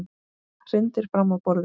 Hrindir fram á borðið.